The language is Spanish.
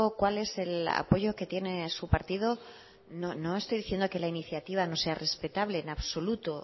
cuál es el apoyo que tiene su partido no estoy diciendo que la iniciativa no sea respetable en absoluto